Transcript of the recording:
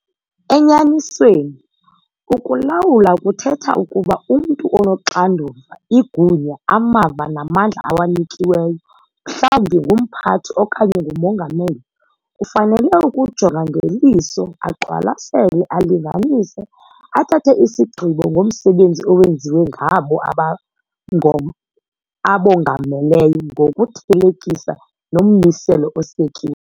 Enyanisweni, ukulawula kuthetha ukuba umntu onoxanduva, igunya, amava namandla awanikiweyo, mhlawumbi ngumphathi okanye ngumongameli, ufanele ukujonga ngeliso, aqwalasele, alinganise, athathe isigqibo ngomsebenzi owenziwe ngabo aba abongameleyo ngokuthelekisa nommiselo osekiweyo.